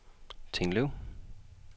Tinglev